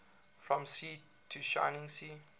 from sea to shining sea